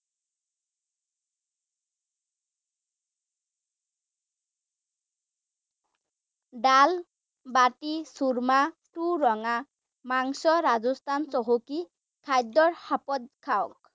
দাল, বাতি, চুৰ্মা, চুৰঙা মাংস ৰাজস্থান চহকী৷ খাদ্য খাঁওক ৷